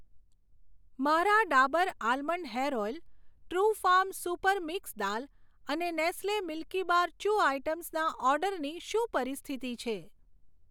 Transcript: મારા Dabur almond hair oil, Trufarm super mix દાલ અને નેસ્લે મિલ્કીબાર ચૂ આઇટમ્સના ઓર્ડરની શું પરિસ્થિતિ છે?